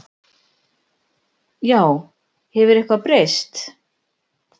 Já, hefur eitthvað breyst?